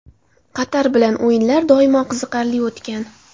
Qatar bilan o‘yinlar doim qiziqarli o‘tgan.